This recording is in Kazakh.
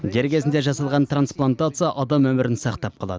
дер кезінде жасалған трансплантация адам өмірін сақтап қалады